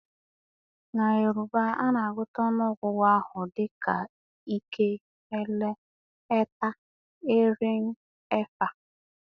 Na Yoruba, a na-agụta ọnụọgụgụ ahụ dị ka ike, ẹlẹ, ẹta, erin, ẹfa,